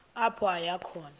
apho aya khona